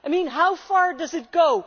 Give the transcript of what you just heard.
I mean, how far does it go?